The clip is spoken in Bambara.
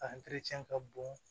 A ka bon